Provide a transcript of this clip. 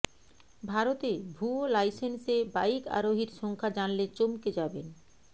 ভারতে ভুয়ো লাইসেন্সে বাইক আরোহীর সংখ্যা জানলে চমকে যাবেন